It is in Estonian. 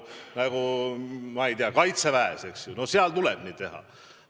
Nagu, ma ei tea, Kaitseväes, eks ju – seal tuleb nii teha.